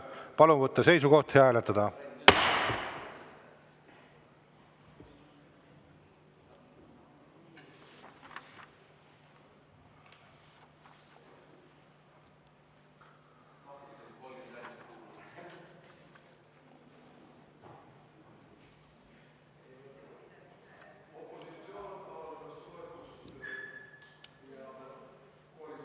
Palun võtta seisukoht ja hääletada!